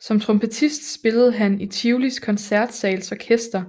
Som trompetist spillede han i Tivolis Koncertsals Orkester